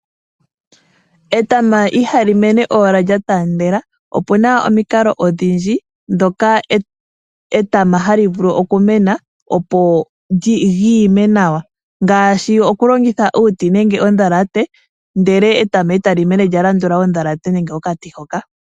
Etama iha li mene owala lya taandela. Opuna omukalo odhindji, ndhoka etama ha li vulu oku mena, opo li ime nawa. Ngaashi oku longitha uuti nenge ondhalate, ndele etama eta li mene lya landula ondhalate, nenge okati hoka.